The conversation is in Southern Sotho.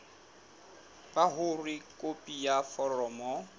ba hore khopi ya foromo